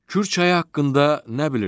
Kür çayı haqqında nə bilirsiz?